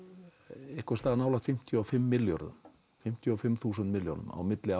einhvers staðar nálægt fimmtíu og fimm milljörðum fimmtíu og fimm þúsund milljónum milli